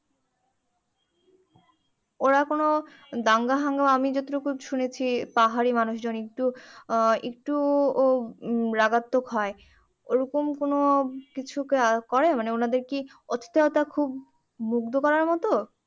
ওরা কোনো দাঙ্গা হাঙ্গামা আমি যতটুকু শুনেছি পাহাড়ি মানুষজন একটু আহ একটু ও রাগাত্মক হয় ওই রকম কোনো কিছু কা~করে মানে ওনাদের কি অতিথায়তা খুব মুগ্ধ করার মতো